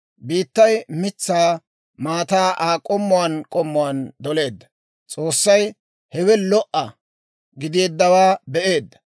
Biittay, mitsaa maataa Aa k'ommuwaan k'ommuwaan doleedda. S'oossay hewe lo"a gideeddawaa be'eedda.